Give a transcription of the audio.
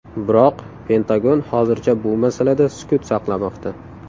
Biroq Pentagon hozircha bu masalada sukut saqlamoqda.